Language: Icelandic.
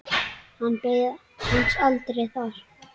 Hann beið hans aldrei þar.